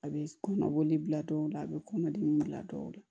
A bɛ kɔnɔboli bila dɔw la a bɛ kɔnɔdimi wulila dɔw la